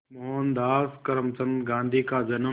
मोहनदास करमचंद गांधी का जन्म